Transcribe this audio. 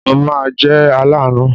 Mo ma jẹ́ aláàánú.